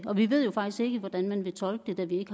og vi ved jo faktisk ikke hvordan man vil tolke det da vi